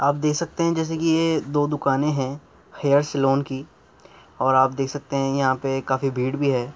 आप देख सकते हैं जैसे कि ये दो दुकानें हैं हेयर सैलून की और आप देख सकते हैं यहाँ पे काफी भीड़ भी है।